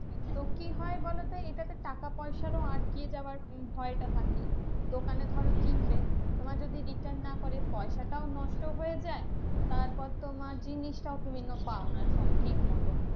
তো কি হয় বলতো? এটাতে টাকা পয়সারও আটকিয়ে যাওয়ার ভয়টা থাকে। দোকানে ধরো কিনবে তোমায় যদি return না করে পয়সাটাও নষ্ট হয়ে যায়, তারপর তোমার জিনিসটাও তুমি কিন্তু পাওনা ঠিক মতো।